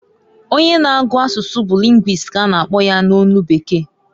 Onye na-agu asusu bu linguist ka a na akpọ ya n'olu bekee.